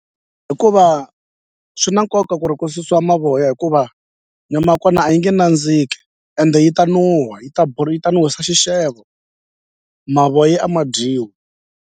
Hikuva swi na nkoka ku ri ku susiwa mavoya hikuva nyama ya kona a yi nge nandziki ende yi ta nuha yi ta yi ta nuhwisa xixevo mavoya a ma dyiwi.